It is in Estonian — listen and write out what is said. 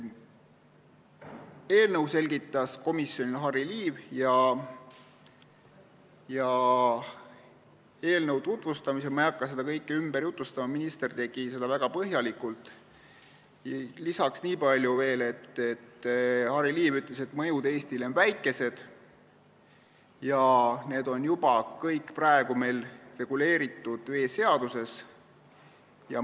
Eelnõu selgitas komisjonile Harry Liiv ja eelnõu tutvustamisel – ma ei hakka seda kõike ümber jutustama, minister tegi seda väga põhjalikult – ütles ta veel nii palju, et mõjud Eestile on väikesed ja need kõik on meil juba reguleeritud veeseaduses.